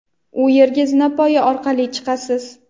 u yerga zinapoya orqali chiqasiz!.